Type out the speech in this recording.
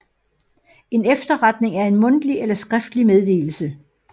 En efterretning er en mundtlig eller skriftlig meddelelse